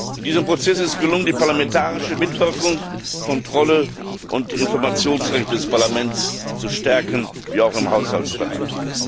In diesem Prozess ist es gelungen, die parlamentarische Mitwirkung, Kontrolle und das Informationsrecht des Parlaments zu stärken, auch im Haushaltsbereich.